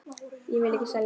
Ég vil ekki selja.